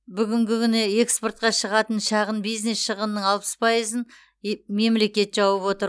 бүгінгі күні эксортқа шығатын шағын бизнес шығынының алпыс пайызын е мемлекет жауып отыр